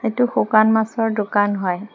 এইটো শুকান মাছৰ দোকান হয়।